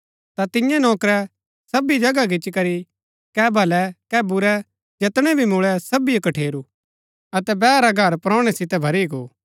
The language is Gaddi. ता तिन्यै नौकरै सबी जगह गिच्ची करी कै भलै कै बुरै जैतणै भी मुळै सबिजो कठेरू अतै बैहा रा घर परौणै सितै भरी गो